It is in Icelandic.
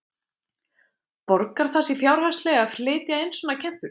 Borgar það sig fjárhagslega að flytja inn svona kempur?